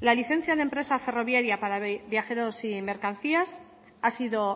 la licencia de empresa ferroviaria para viajeros y mercancías ha sido